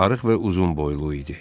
Arıq və uzunboylu idi.